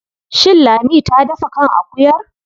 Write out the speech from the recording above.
Shin Lami ta dafa kan akuyar?